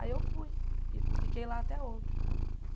Aí eu fui e fiquei lá até ontem.